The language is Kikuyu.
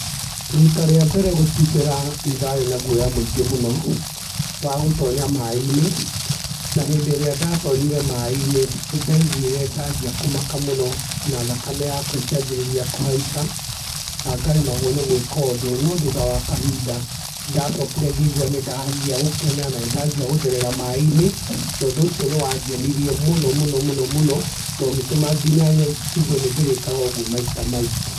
Rita rĩa mbere gũtubĩra nĩ ndarĩ na guoya mũingi mũno wa gũtonya maaĩ-inĩ na hĩndĩ ĩrĩa ndatonyire maaĩ-inĩ, nĩndaiguire ndanjia kũmaka mũno na thakame yakwa ĩkĩanjĩrĩria kũhaica na ngaremagwo nĩ gwĩka ũndũ. No thutha wa kahinda nĩndacokire ngĩigua nĩ ndanjia gũkena na nĩ ndanjia gũtherera maaĩ-inĩ na ũndũ ũcio nĩ wangenirie mũno mũno na ũgĩtũma nginya njĩgue nĩndĩrĩkaga ũguo maita maingĩ.